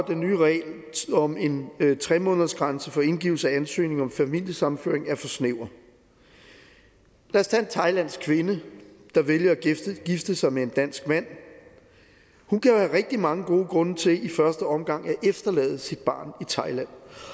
den nye regel om en tre månedersgrænse for indgivelse af ansøgning om familiesammenføring er for snæver lad os tage en thailandsk kvinde der vælger at gifte sig med en dansk mand hun kan jo rigtig mange gode grunde til i første omgang at efterlade sit barn i thailand